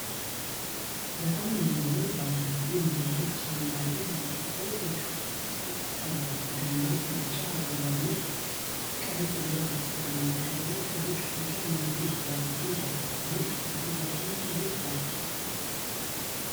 በጣም የሚያምር ባለብዙ-ንብርብር ጭማቂ በብርጭቆ ዕቃ ውስጥ ቀርቧል። ደማቅ ቢጫ፣ አረንጓዴ፣ ቀይ እና ብርቱካናማ ቀለሞች ጥልቅ ፍቅርና የምግብ ፍላጎት ይከፍታሉ። ይህ እጅግ በጣም ጥሩ የፍራፍሬ መጠጥ ነው።